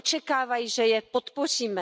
Oni očekávají, že je podpoříme.